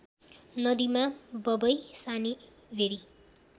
नदीमा बबै सानीभेरी